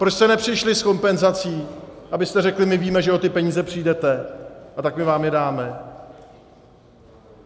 Proč jste nepřišli s kompenzací, abyste řekli "my víme, že o ty peníze přijdete, a tak my vám je dáme"?